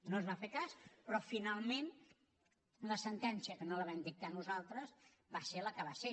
no es va fer cas però finalment la sentència que no la vam dictar nosaltres va ser la que va ser